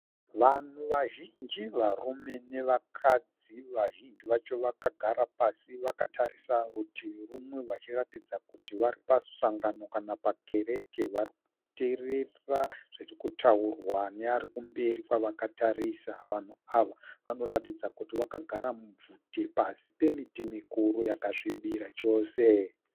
Vanhu vazhinji varume nevakadzi vazhinji vacho vakagara pasi vakatarisa rutivi rumwe vachiratidza kuti varipamusangano kana pamukereke varikuteerera zvirikutaurwa nearikumberi kwavakatarisa vanhu ava vanoratidza kuti vakagara mubvute pasi pemiti mikuru yakasvibira chose.